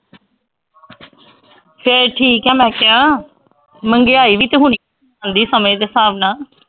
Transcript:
ਫਿਰ ਠੀਕ ਹੈ ਮੈਂ ਕਿਹਾ ਮਹਿੰਗਾਈ ਵੀ ਤਾਂ ਹੋਣੀ ਜਾਂਦੀ ਸਮੇਂ ਦੇ ਹਿਸਾਬ ਨਾਲ।